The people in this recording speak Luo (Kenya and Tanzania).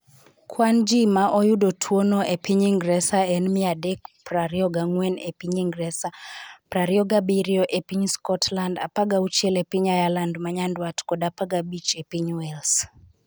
Kwan ji ma oyudo tuwono e piny Ingresa en 324 e piny Ingresa, 27 e piny Scotland, 16 e piny Ireland ma Nyanduat kod 15 e piny Wales.